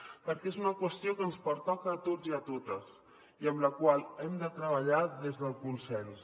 perquè és una qüestió que ens pertoca a tots i a totes i en la qual hem de treballar des del consens